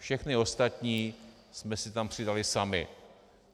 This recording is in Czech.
Všechny ostatní jsme si tam přidali sami.